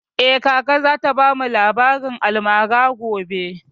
Eh, kaka za ta bamu labarin almara gobe